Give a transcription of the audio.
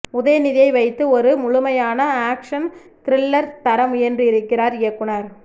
உதயநிதியை வைத்து ஒரு முழுமையான ஆக்ஷன் த்ரில்லர் தர முயன்றிருக்கிறார் இயக்குநர்